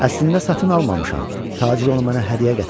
Əslində satın almamışam, tacir onu mənə hədiyyə gətirmişdi.